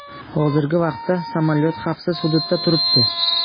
Hozirgi vaqtda samolyot xavfsiz hududda turibdi.